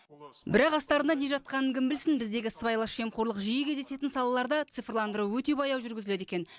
бірақ астарында не жатқанын кім білсін біздегі сыбайлас жемқорлық жиі кездесетін салаларда цифрландыру өте баяу жүргізіледі екен